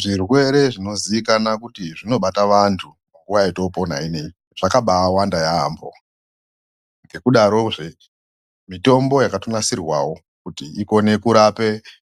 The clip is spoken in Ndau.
Zvirwere zvinozikana kuti zvinobata vantu munguva yatoopona ineyi zvakabaawanda yaambo. Ngekudarozve mitombo yakatonasirwawo kuti ikone kurape